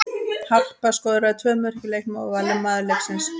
Harpa skoraði tvö mörk í leiknum og var valin maður leiksins.